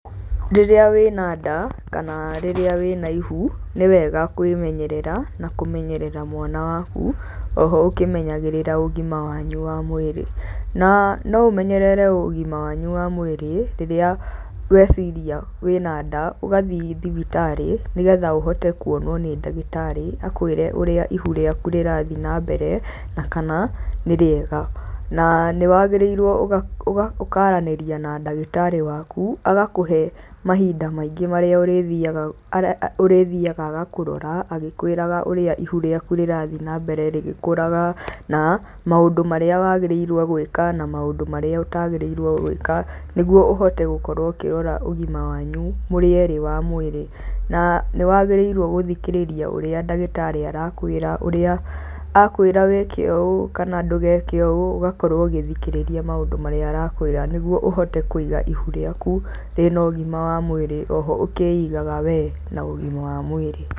Rĩrĩa wĩ na nda kana rĩrĩa wĩ na ihu, nĩ wega kwĩmenyerera na kũmenyerera mwana waku o ho ũkĩmenyagĩrĩra ũgima wanyu wa mwĩrĩ. Na no ũmenyerere ũgima wanyu wa mwĩrĩ, rĩrĩa weciria wĩ na nda ũgathiĩ thibitarĩ, nĩgetha ũhote kuonwo nĩ ndagĩtarĩ akwĩre ũrĩa ihu rĩaku rĩrathie na mbere na kana nĩ rĩega. Na nĩ waagĩrĩirwo ũkaranĩria na ndagĩtarĩ waku agakũhe mahinda maingĩ marĩa ũrĩthiaga agakũrora agĩkwĩraga ũrĩa ihu rĩaku rĩrathiĩ na mbere rĩgĩkũraga na maũndũ marĩa waagĩrĩirwo gwĩka, na maũndũ marĩa ũtaagĩrĩrwo gwĩka nĩguo ũhote gũkorwo ũkĩrora ũgima wanyu mũrĩ erĩ wa mwĩrĩ. Na nĩ waagĩrĩrwo gũthikĩrĩria ũrĩa ndagĩtarĩ arakwĩra, akwĩra wĩkĩ ũũ kana ndũgeke ũũ ũgakorwo ũgĩthikĩrĩria maũndũ marĩa arakwĩra nĩguo ũhote kũiga ihu rĩaku rĩna ũgima wa mwĩrĩ, o ho ũkĩigaga wee na ũgima wa mwĩrĩ.